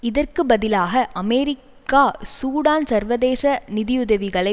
இதற்கு பதிலாக America Sudan சர்வதேச நிதியுதவிகளை